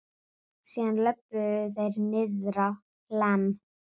Síðan löbbuðu þeir niðrá Hlemm.